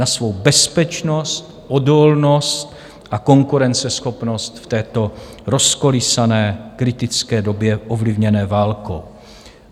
Na svou bezpečnost, odolnost a konkurenceschopnost v této rozkolísané kritické době ovlivněné válkou.